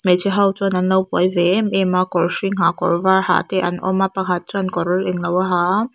hmeichhe ho chuan an lo buai ve em em a kawr hring ha kawr var ha te an awm a pakhat chuan kawr englo a ha a.